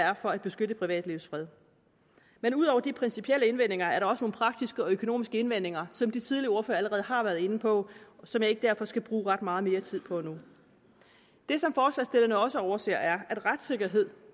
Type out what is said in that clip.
er for at beskytte privatlivets fred men ud over de principielle indvendinger er der også nogle praktiske og økonomiske indvendinger som de tidligere ordførere allerede har været inde på og som jeg derfor ikke skal bruge ret meget mere tid på nu det som forslagsstillerne også overser er at retssikkerhed